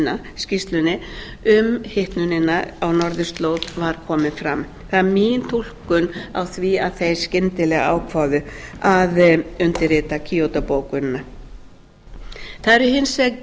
acia skýrslunni um hitnunina á norðurslóð voru komnar fram það er mín túlkun á því að þeir skyndilega ákváðu að undirrita kýótó bókunina það eru hins vegar